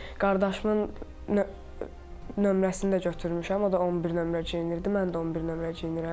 Qardaşımın nömrəsini də götürmüşəm, o da 11 nömrə geyinirdi, mən də 11 nömrə geyinirəm.